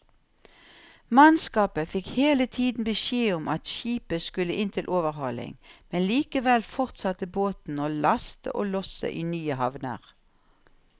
Mannskapet fikk hele tiden beskjed om at skipet skulle inn til overhaling, men likevel fortsatte båten å laste og losse i nye havner.